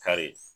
Kari